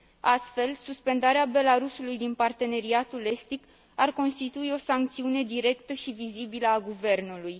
Astfel, suspendarea Belarusului din Parteneriatul estic ar constitui o sancțiune directă și vizibilă a guvernului.